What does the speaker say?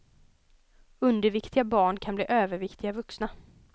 Underviktiga barn kan bli överviktiga vuxna.